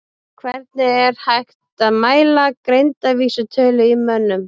Hvernig er hægt að mæla greindarvísitölu í mönnum?